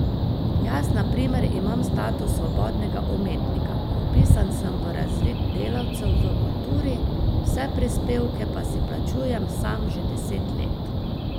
Jaz na primer imam status svobodnega umetnika, vpisan sem v razvid delavcev v kulturi, vse prispevke pa si plačujem sam že deset let.